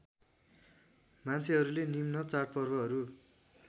मान्छेहरूले निम्न चाडपर्वहरू